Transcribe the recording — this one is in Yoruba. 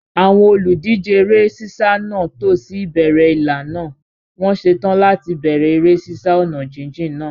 Àwọn olùdíje eré sísá náà tò sí ìbẹ̀rẹ̀ ìlà náà, wọ́n ṣetán láti bẹ̀rẹ̀ eré sísá ọ̀nà jíjìn náà.